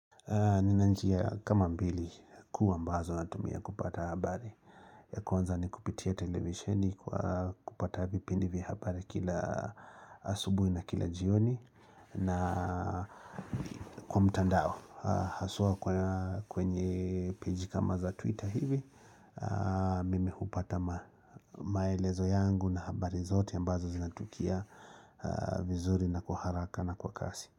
Nina njia kama mbili kuu ambazo natumia kupata habari ya kwanza ni kupitia televisheni kwa kupata vipindi vya habari kila asubui na kila jioni na kwa mtandao, hasua kwenye peji kama za twitter hivi Mimi hupata maelezo yangu na habari zote ambazo zinatukia vizuri na kwa haraka na kwa kasi.